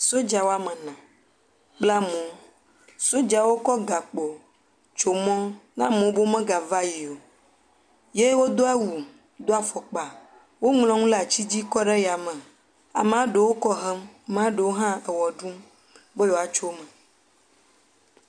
Sodza woame ene bla amewo, sodzawo kɔ gakpo tso mɔ be amewo megava yi o. Ye wodo awu do awu do afɔkpa woŋlɔ nu ɖe ati dzi kɔ ɖe yame, ameɖewo kɔ hem, maɖewo kɔ hem maɖewo hã ewɔ ɖum be yewoatso eme.